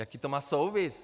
Jaký to má souvis?